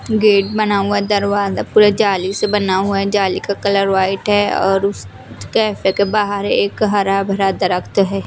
Gate बना हुआ है दरवाजा पूरा जाली से बना हुआ है जाली का कलर वाइट हैं और उस कैफ़े के बाहर एक हरा भरा दरख्त है।